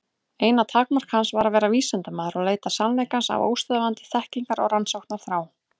Eina takmark hans var að vera vísindamaður og leita sannleikans af óstöðvandi þekkingar- og rannsóknarþrá.